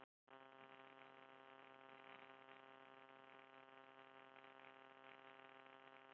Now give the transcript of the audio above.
Músin hafði hlaupið úr lófa Ara þegar þeir byrjuðu að spjalla og hann saknaði hennar.